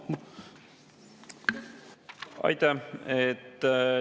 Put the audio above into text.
Aitäh!